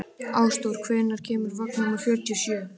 Ásdór, hvenær kemur vagn númer fjörutíu og sjö?